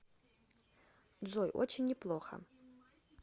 джой очень неплохо